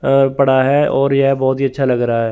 अ पड़ा है और यह बहुत ही अच्छा लग रहा है।